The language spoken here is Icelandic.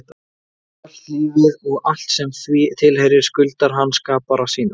Sjálft lífið og allt sem því tilheyrir skuldar hann skapara sínum.